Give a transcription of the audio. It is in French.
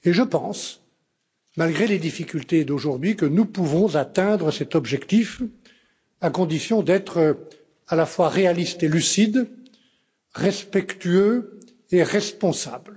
Et je pense, malgré les difficultés d'aujourd'hui, que nous pouvons atteindre cet objectif, à condition d'être à la fois réalistes et lucides, respectueux et responsables.